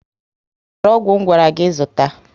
I zụtara ọgwụ ngwara gị zụta?